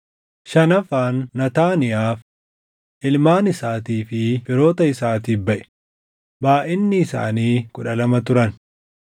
shanaffaan Naataaniyaaf, // ilmaan isaatii fi firoota isaatiif baʼe; // baayʼinni isaanii kudha lama turan